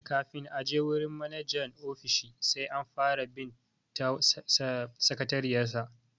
Kafin a je wurin manajan ofishi sai an fara bi ta sakatariyar sa.